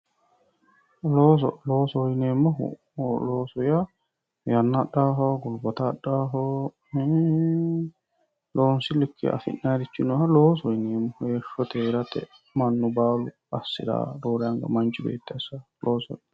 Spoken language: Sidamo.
Loosoho yineemmohu looso yaa yanna adhawooho gulbata adhawooho loonsi likke afi'nanniha loosoho yinaeemmo heeshshote heerate mannu baalu assirawooho roorenka manchu beetti assirawooha loosoho yinanni